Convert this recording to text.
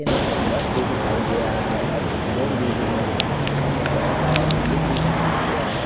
एक बस भी दिखाई दे रहा है और कुछ लोग भी दिख रहे हैं पीछे में बहोत सारा बिल्डिंग भी बनाया गया है।